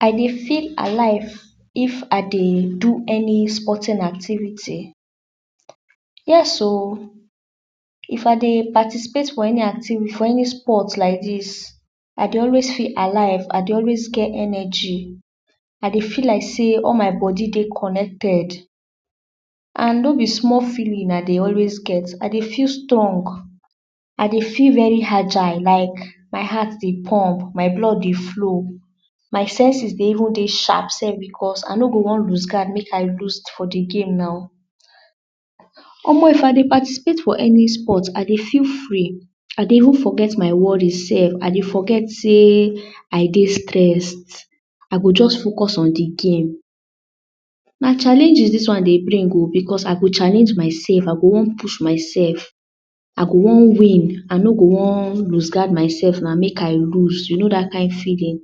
I be feel alive of I dey do any sporting activities yes oh if I dey participate for any sport. like dis I dey always feel alive I dey always get energy I dey feel like sey all my body dey connected and no be small feeling I dey always get. I dey feel strong I dey feel very agile like my heart dey pump my blood dey flow my senses dey even dey sharp sef because I no go wan loose guard. make I loose for de game now omo. if I dey participate for any sport I dey feel free I dey even forget my worry sef I dey forget sey I dey stressed I go just focus on de game na challenges dis one dey bring oh because I go challenge myself I go wan push myself I go wan win. I no dey wan loose guard myself now make I loose you know dat kind feeling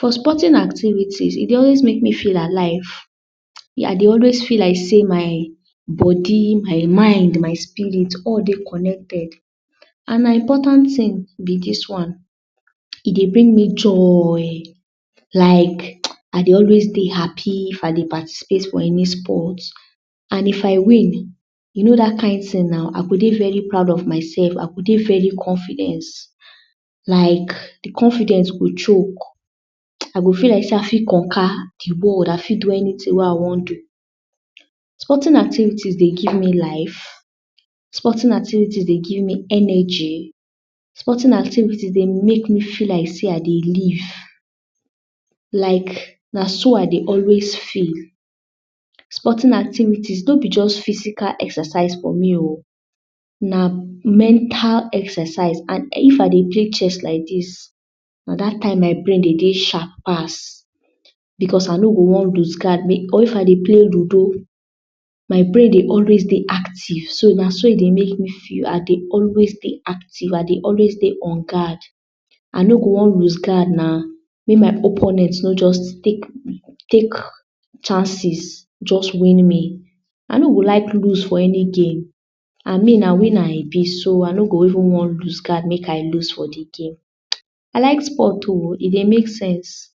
for sporting activities. e dey always make me feel alive me I dey always feel like sey my body my mind my spirit all dey connected and na important tings be dis one e dey bring me joy like I dey always dey happy. if I dey participate for any sport and if I win you know dat kind ting now I go dey very proud of myself I go dey very confident like de confidence go choke I go feel like sey i fit conquer de world. I fit do anyting wey I wan do sporting activities dey give me life sporting activities dey give me energy sporting activities dey make me feel like sey I dey live like na so I dey always feel sporting activities. no be just physical exercise for me oh na mental exercise and if I dey play chess like dis, na dat time my brain dey dey sharp like dis because I no go wan loose guard or if I dey play ludo my brain dey always dey active. so na so e dey make me feel I dey always dey active I dey always dey in guard I no go wan loose guard na make my opponent no just take chances just win me. I no go like loose for my game and me na winner I be so I no go even wan loose guard for de game I like sport o e dey make sense.